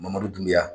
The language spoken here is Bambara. Mangoro dun bɛ yan